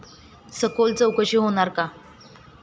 सखोल चौकशी होणार का?